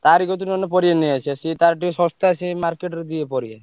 ତାରି କତିରୁ ନହେଲେ ପରିବା ନେଇଆସିଆ ସିଏ ତାର ଟିକେ ଶସ୍ତା ସିଏ market ରେ ଦିଏ ପରିବା।